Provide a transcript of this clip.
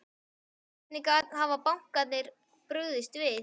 Hvernig hafa bankarnir brugðist við?